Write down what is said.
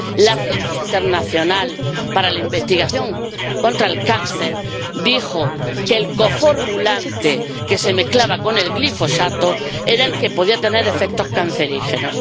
La Agencia Internacional para la Investigación contra el Cáncer dijo que el coformulante que se mezclaba con el glifosato era el que podía tener efectos cancerígenos.